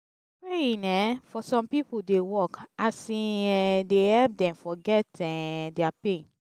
praying um for som pipo dey work as e um dey help dem forget um dia pain